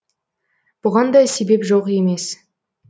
бұған да себеп жоқ емес